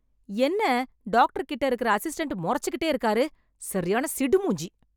என்ன டாக்டர் கிட்ட இருக்க அசிஸ்டன்ட் மொறச்சுகிட்டே இருக்காரு, சரியான சிடு மூஞ்சி.